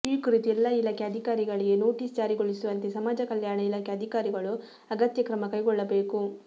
ಈ ಕುರಿತು ಎಲ್ಲಾ ಇಲಾಖೆಯ ಅಧಿಕಾರಿಗಳಿಗೆ ನೋಟಿಸ್ ಜಾರಿಗೊಳಿಸುವಂತೆ ಸಮಾಜ ಕಲ್ಯಾಣ ಇಲಾಖೆ ಅಧಿಕಾರಿಗಳು ಅಗತ್ಯ ಕ್ರಮ ಕೈಗೊಳ್ಳಬೇಕು